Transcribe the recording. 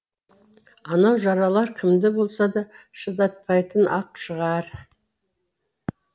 анау жаралар кімді болса да шыдатпайтын ақ шығар